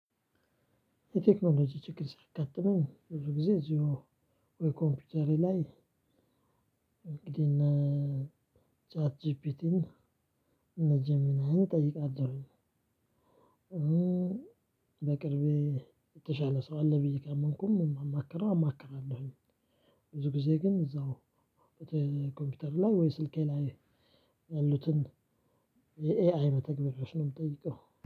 የቴክኖሎጂ ችግር ሲያጋጥመኝ ብዙ ጊዜ እዚሁ ወይ ኮምፒውተሬ ላይ። እንግዲህ እነ ቻት ጂፒቲን እነ ጀሚናይን እጠይቃለሁኝ። በቅርቤ የተሻለ ሰው አለ ብዬ ካመንኩም እማማክረው አማክራለሁኝ። ብዙ ጊዜ ግን እዛው ኮምፒውተር ላይ ወይ ስልኬ ላይ። ያሉትን የኤአይ መተግበሪያዎች ነው የምጠይቀው።